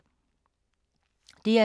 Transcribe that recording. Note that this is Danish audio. DR2